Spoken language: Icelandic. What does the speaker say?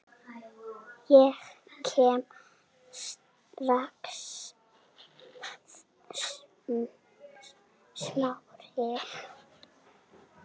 Ég kem strax- svaraði Smári.